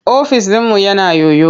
Ofis ɗinmu yana yoyo.